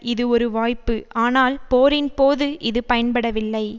இது ஒரு வாய்ப்பு ஆனால் போரின் போது இது பயன்படவில்லை